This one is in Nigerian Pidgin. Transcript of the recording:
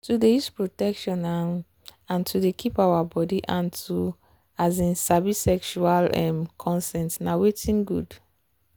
to dey use protection um and to dey keep our body and to um sabi sexual um consent na watin good.